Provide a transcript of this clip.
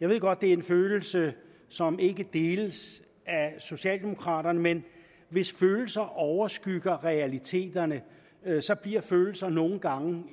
jeg ved godt det er en følelse som ikke deles af socialdemokraterne men hvis følelser overskygger realiteterne så bliver følelser nogle gange